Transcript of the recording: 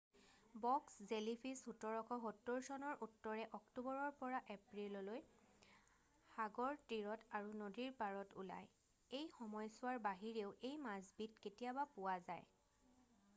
box jellyfish 1770 চনৰ উত্তৰে অক্টোবৰৰ পৰা এপ্ৰিললৈ সাগৰ তীৰত আৰু নদীৰ পাৰত ওলায় এই সময়ছোৱাৰ বাহিৰেও এই মাছবিধ কেতিয়াবা পোৱা যায়